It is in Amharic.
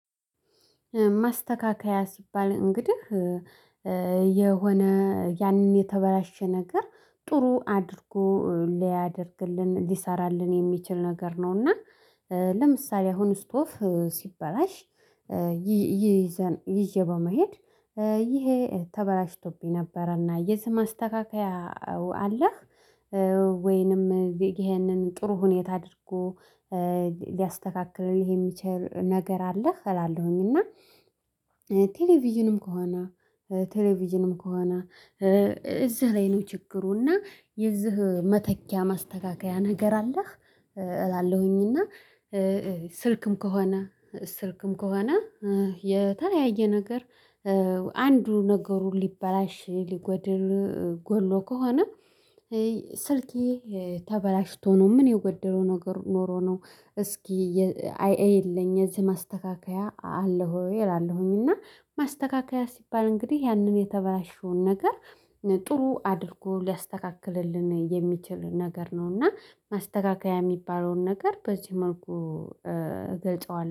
ማስተካከያ ሲባል እንግዲህ የሆነ ያንን የተበላሸ ነገር ጥሩ አድርጎ ሊያደርግልን ሊሰራልን የሚችል ነገር ነው። እና ለምሳሌ አሁን ስቶቭ ሲበላሽ ይዤ በመሄድ ይሄ ተበላሽቶብኝ ነበረ እና የዚህ ማስተካከያ አለህ? ወይንም ይሄንን ጥሩ ሁኔታ አድርጎ ሊያስተካክለው የሚችል ነገር አለህ እላለሁኝ። ቴሌቪዥንም ከሆነ ቴሌቪዥንም ከሆነ እዚህ ላይ ነው ችግሩ እና የዚህ መተኪያ ማስተካከያ ነገር አለህ? እላለሁኝ። እና ስልክም ከሆነ ስልክም ከሆነ የተለያየ ነገር አንዱ ነገሩን ሊበላሽ ሊጎድል ጎሎ ከሆነ ስልኬ ተበላሽቶ ነው ምን የጎደለው ነገር ኖሮ ነው? እስኪ አይኤይልኝ እዚህ ማስተካከያ አለህ ወይ እላለሁኝ። እና ማስተካከያ ሲባል እንግዲህ ያንን የተበላሸውን ነገር ጥሩ አድርጎ ሊያስተካክልልን የሚችል ነገር ነው። እና ማስተካከያ የሚባለውን ነገር በዚህ መልኩ ገልጸዋል